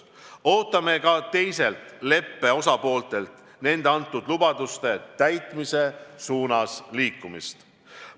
Ootame ka teistelt leppe osapooltelt nende antud lubaduste täitmise poole liikumist.